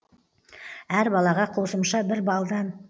әр балаға қосымша бір балдан